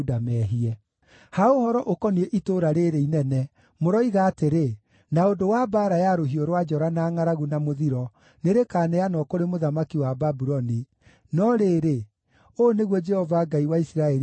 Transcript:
“Ha ũhoro ũkoniĩ itũũra rĩĩrĩ inene, mũroiga atĩrĩ, ‘na ũndũ wa mbaara ya rũhiũ rwa njora, na ngʼaragu, na mũthiro nĩrĩkaneanwo kũrĩ mũthamaki wa Babuloni’; no rĩrĩ, ũũ nĩguo Jehova Ngai wa Isiraeli ekuuga: